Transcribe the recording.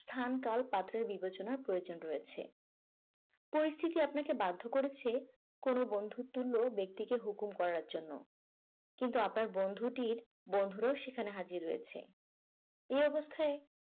স্থান কাল পাত্র এর বিবেচনার প্রয়োজন রয়েছে। পরিস্থিতি আপনাকে বাধ্য করেছে কোন বন্ধু তুল্য ব্যক্তিকে হুকুম করার জন্য। কিন্তু আপনার বন্ধুটির বন্ধুর ও সেখানে হাজির হয়েছে। এই অবস্থায়